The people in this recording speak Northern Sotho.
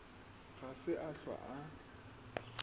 ga se a hlwa a